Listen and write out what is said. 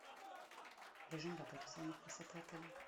режим работы салонов красоты отеля